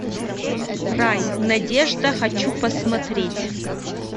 рай надежда хочу посмотреть